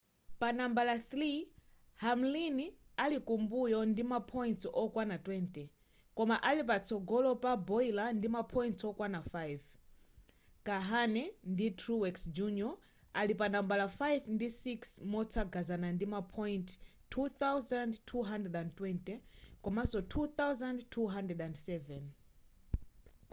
panambala 3 hamlin ali kumbuyo ndi ma points okwana 20 koma ali patsogolo pa bowyer ndi ma points okwana 5 kahne ndi truex jr ali panambala 5 ndi 6 motsagana ndima point 2,220 komanso 2,207